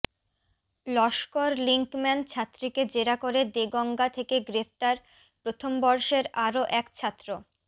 Laskar linkman ছাত্রীকে জেরা করে দেগঙ্গা থেকে গ্রেফতার প্রথমবর্ষের আরও এক ছাত্র